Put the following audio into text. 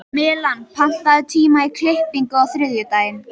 Malen, pantaðu tíma í klippingu á þriðjudaginn.